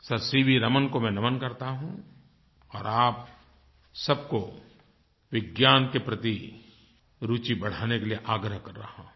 sir C V Raman को मैं नमन करता हूँ और आप सबको विज्ञान के प्रति रुचि बढ़ाने के लिए आग्रह कर रहा हूँ